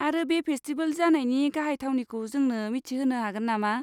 आरो बे फेस्टिबेल जानायनि गाहाय थावनिखौ जोंनो मिथोहोनो हागोन नामा?